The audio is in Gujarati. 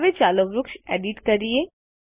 હવે ચાલો વૃક્ષ એડિટ કરીએ